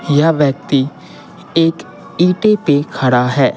यह व्यक्ति एक ईटे पे खड़ा है।